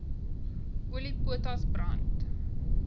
olie potas brand